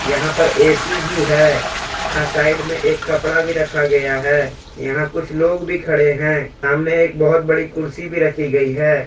यहां पर ए_सी भी हैं यहां साइड में एक कपड़ा भी रखा गया हैं यहां कुछ लोग भी खड़े हैं सामने एक बहुत बड़ी कुर्सी भी रखी गई है।